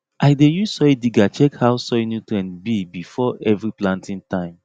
i dey use soil digger check how soil nutrient be before every planting time